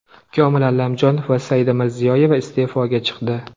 Komil Allamjonov va Saida Mirziyoyeva iste’foga chiqdi.